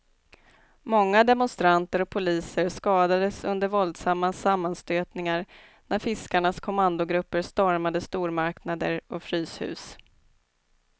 Många demonstranter och poliser skadades under våldsamma sammanstötningar när fiskarnas kommandogrupper stormade stormarknader och fryshus.